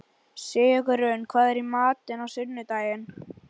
Sigurunn, hvað er í matinn á sunnudaginn?